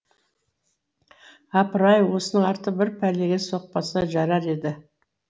апырай осының арты бір пәлеге соқпаса жарар еді